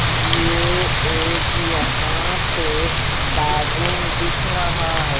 ये एक यहां पे बेडरूम दिख रहा है।